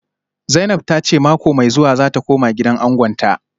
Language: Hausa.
Zainab ta ce mako mai zuwa za ta koma gidan angonta